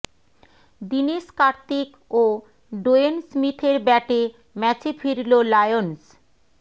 দীনেশ কার্তিক ও ডোয়েন স্মিথের ব্যাটে ম্যাচে ফিরল লায়ন্স